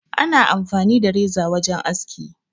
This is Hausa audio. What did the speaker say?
Ana amfani da reza wajen aski.